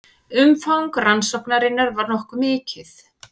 Umfang rannsóknarinnar var nokkuð mikið